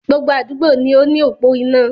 Gbogbo àdúgbò ní o ni opò iná.